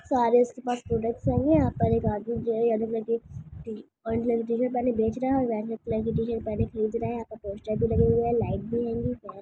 सारे इसके पास प्रोडक्ट्स हेंगे यहां पर एक आदमी जो है येलो कलर की टी ऑरेंज कलर की टी शर्ट पहने बेच रहा है और वाइट कलर की टी शर्ट पहने खरीद रहा है यहां पर पोस्टर भी लगे हुए हैं लाइट भी हेंगी --